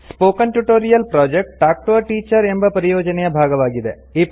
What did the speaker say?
spoken tutorial project talk to a teacher ಎಂಬ ಪರಿಯೋಜನೆಯ ಭಾಗವಾಗಿದೆ